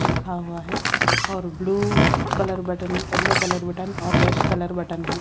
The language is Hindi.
लिखा हुआ है और blue colour button yellow colour button और रेड कलर बटन है।